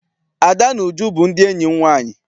Ada na Uju bụ ndị enyi m nwaanyị.